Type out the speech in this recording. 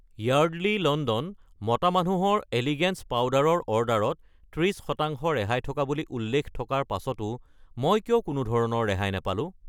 Yardley London মতা মানুহৰ elegance powder ৰ অৰ্ডাৰত 30 % ৰেহাই থকা বুলি উল্লেখ থকাৰ পাছতো মই কিয় কোনোধৰণৰ ৰেহাই নাপালো?